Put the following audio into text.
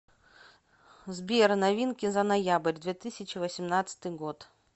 сбер новинки за ноябрь две тысячи восемнадцатый год